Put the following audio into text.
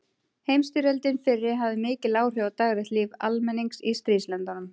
Heimsstyrjöldin fyrri hafði mikil áhrif á daglegt líf almennings í stríðslöndunum.